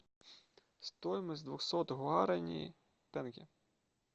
стоимость двухсот гуарани в тенге